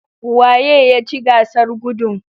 Waye ya ci gasar gudun?